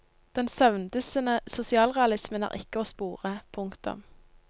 Den søvndyssende sosialrealismen er ikke å spore. punktum